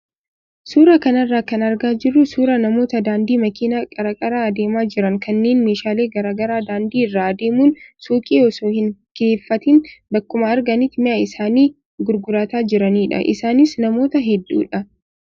Suuraa kanarraa kan argaa jirru suuraa namoota daandii makiinaa qarqara adeemaa jiran kanneen meeshaalee garaagaraa daandii irra adeemuun suuqii osoo hin kireeffatiin bakkuma arganitti mi'a isaanii gurgurataa jiranidha. Isaanis namoota hedduudha.